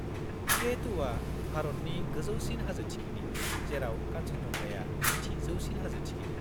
-K2आ भारतनि गोजौसिन हाजो थिखिनि, जेराव कान्चनजंगाया नैथि जौसिन हाजो थिखिनि।